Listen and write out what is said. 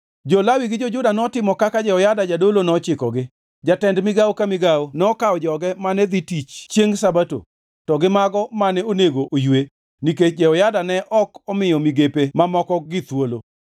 Jo-Lawi gi jo-Juda notimo kaka Jehoyada jadolo nochikogi. Jatend migawo ka migawo nokawo joge mane dhi tich chiengʼ Sabato to gi mago mane onego oywe, nikech Jehoyada ne ok omiyo migepe mamokogi thuolo.